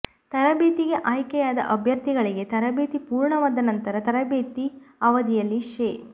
ತರಬೇತಿಗೆ ಆಯ್ಕೆಯಾದ ಅಭ್ಯರ್ಥಿಗಳಿಗೆ ತರಬೇತಿ ಪೂರ್ಣವಾದ ನಂತರ ತರಬೇತಿ ಅವಧಿಯಲ್ಲಿ ಶೇ